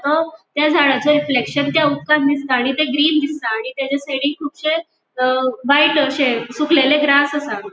तो त्या झाडाचे रिफ्लेक्शन त्या उदकान दिसता आणि ते ग्रीन दिसता आणि तेचे साइडीक कुबशे व्हाइट अशे सुकलेले ग्रास आसा.